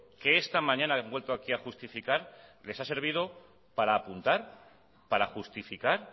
que esta mañana han vuelto aquí a justificar les ha servido para apuntar para justificar